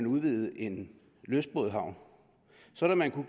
udvides en lystbådehavn sådan at man